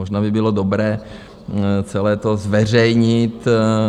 Možná by bylo dobré celé to zveřejnit.